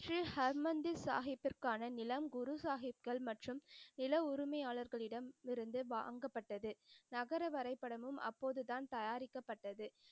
ஸ்ரீ ஹர்மந்திர் சாஹிபிற்கான நிலம் குரு சாஹிப்கள் மற்றும் நிலா உரிமையாளர்களிடம் இருந்து வாங்கப்பட்டது. நகர வரைபடமும் அப்போதுதான் தயாரிக்கப்பட்டது.